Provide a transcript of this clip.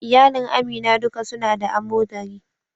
Iyalin Amina duka su na da amodari.